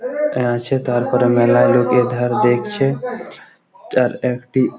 আ আছে তারপরে মেলায় লোক এধার দেখছে তার একটি--